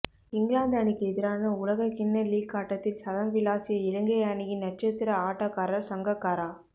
இங்கிலாந்து அணிக்கு எதிரான உலகக்கிண்ண லீக் ஆட்டத்தில் சதம் விளாசிய இலங்கை அணியின் நட்சத்திர ஆட்டக்காரர் சங்கக்காரா